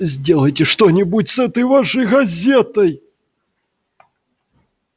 сделайте что-нибудь с этой вашей газетой